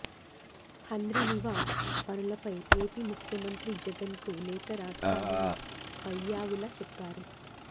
హంద్రినీవా పనులపై ఏపీ ముఖ్యమంత్రి జగన్ కు లేఖ రాస్తామని పయ్యావుల చెప్పారు